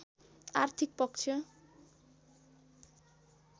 आर्थिक पक्ष